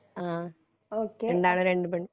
ആ രണ്ടാണും രണ്ടു പെണ്ണും